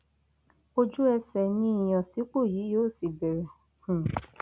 ojúẹsẹ ni ìyànsípò yìí yóò sì bẹrẹ um